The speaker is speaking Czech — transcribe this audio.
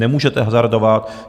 Nemůžete hazardovat.